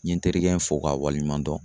N ye n terikɛ in fo k'a waleɲuman dɔn.